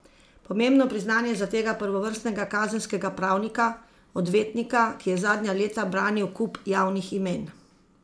Pomembno priznanje za tega prvovrstnega kazenskega pravnika, odvetnika, ki je zadnja leta branil kup javnih imen.